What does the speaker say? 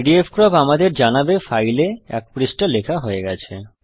pdfcrop আমাদের জানাবে file এ এক পৃষ্ঠা লেখা হয়ে গেছে